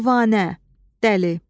Divanə, dəli.